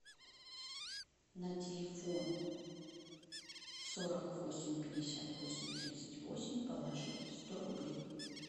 на телефон сорок восемь пятьдесят восемь тридцать восемь положить сто рублей